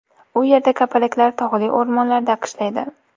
U yerda kapalaklar tog‘li o‘rmonlarda qishlaydi.